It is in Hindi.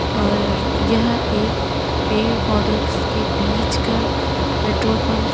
और यह एक पेड़ पौधों स के बीच का पेट्रोल पंप --